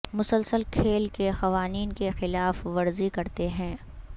مسلسل کھیل کے قوانین کی خلاف ورزی کرتے ہیں